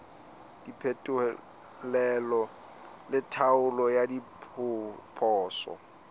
diphetolelo le tlhaolo ya diphoso